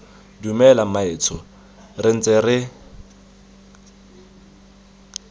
dumela mmaetsho re ntse re